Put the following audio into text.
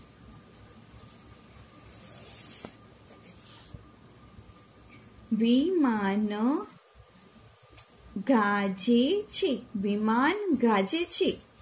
વિમાન ગાજે છે વિમાન ગાજે છે.